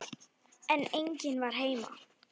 En enginn var heima.